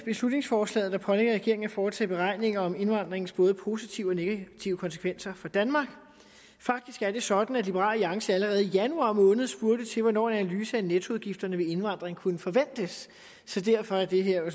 beslutningsforslaget der pålægger regeringen at foretage beregninger af indvandringens både positive og negative konsekvenser for danmark faktisk er det sådan at liberal alliance allerede i januar måned spurgte til hvornår en analyse af nettoudgifterne ved indvandring kunne forventes så derfor er det her jo